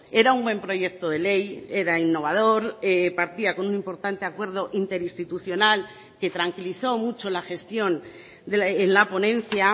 era un buen proyecto de ley era innovador partía con un importante acuerdo interinstitucional que tranquilizó mucho la gestión en la ponencia